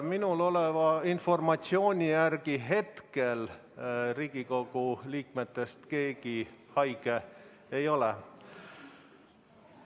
Minul oleva informatsiooni järgi hetkel Riigikogu liikmetest keegi haige ei ole.